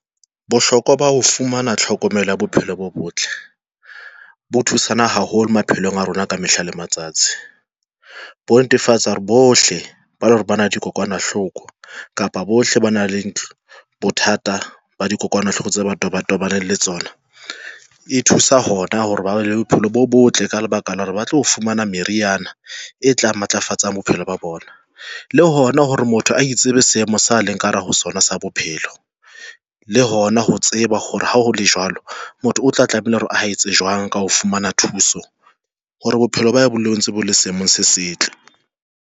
Bohlokwa ba ho fumana tlhokomelo ya bophelo bo botle bo thusana haholo maphelong a rona ka mehla le matsatsi bo netefatsa hore bohle ba le hore bana dikokwanahloko kapa bohle ba na le ntlo. Bothata ba dikokwanahloko tse batho ba tobaneng le tsona e thusa hona hore ba bophelo bo botle ka lebaka la hore ba tlo fumana meriana e tlang matlafatsa a bophelo ba bona le hona hore motho a itsebe seemo sa leng ka hara ho sona, se bo bophelo. Le hona ho tseba hore ha ha hole jwalo motho o tla tlamehile hore a etse jwang ka ho fumana thuso. Hore bophelo ba bolelletse bo le selemong se setle.